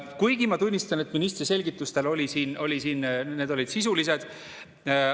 Kuigi, ma tunnistan, ministri selgitused siin olid sisulised.